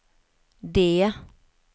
D